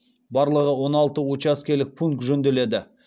барлығы он алты учаскелік пункт жөнделеді